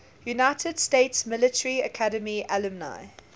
united states military academy alumni